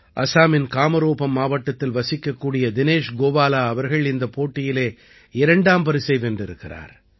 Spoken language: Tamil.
அஸாமின் காமரூபம் மாவட்டத்தில் வசிக்கக்கூடிய தினேஷ் கோவாலா அவர்கள் இந்தப் போட்டியிலே இரண்டாம் பரிசை வென்றிருக்கிறார்